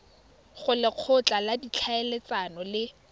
go lekgotla la ditlhaeletsano le